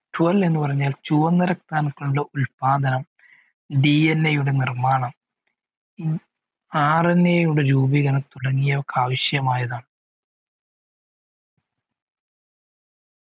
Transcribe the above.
ചുവന്ന രക്താണുക്കളുടെ ഉത്പാദനം DNA യുടെ നിർമ്മാണം RNA യുടെ രൂപീകരണം തുടങ്ങിയ ആവിശ്യമായതാണ്